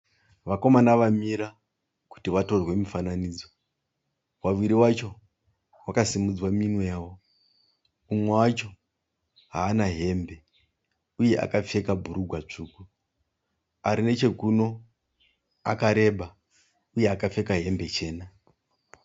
Vakomana vamira kuti vatorwe mufananidzo. Vaviri vacho vakasimudza minwe yavo. Umwe wacho hana hembe uye akapfeka bhurugwa svuku, arinechekuno akareba uye akapfeka hembe chena.